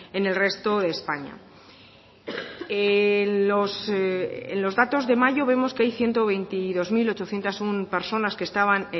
en el resto de españa en los datos de mayo vemos que hay ciento veintidós mil ochocientos uno personas que estaban